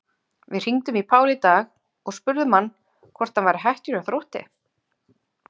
Við hringdum í Pál í dag og spurðum hann hvort hann væri hættur hjá Þrótti?